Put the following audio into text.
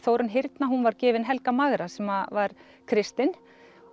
Þórunn hyrna hún var gefin Helga magra sem var kristinn